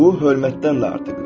Bu hörmətdən də artıqdır.